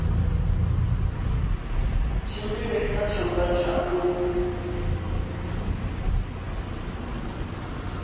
tshimbile kha tshanḓa tsha u